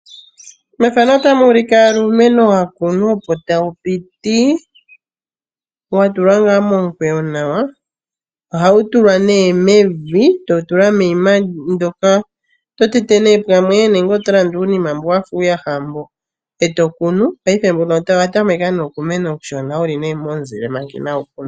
Iimeno ohayi vulu okukunwa muu ndooha uushona moka hamu tulwa evi no sho woo uushosho opo iimeno yi koke nawa.